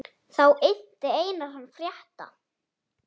Þá innti Einar hann frétta.